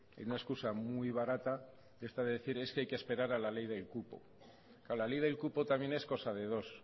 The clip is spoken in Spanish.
en una excusa muy barata esta de decir es que hay que esperar a la ley del cupo la ley del cupo también es cosa de dos